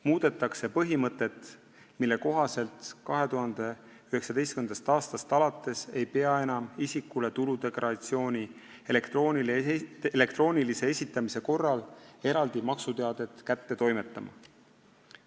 Muudetakse põhimõtet, mille kohaselt 2019. aastast alates ei pea enam isikule tuludeklaratsiooni elektroonilise esitamise korral eraldi maksuteadet kätte toimetama.